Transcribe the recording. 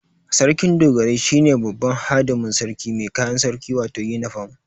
Sarkin Dogarai shine babban hadimin sarki mai kayan sarki wato yinifam